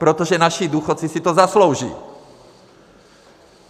Protože naši důchodci si to zaslouží.